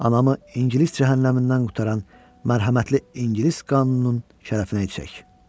Anamı İngilis cəhənnəmindən qurtaran mərhəmətli İngilis qanununun şərəfinə içək.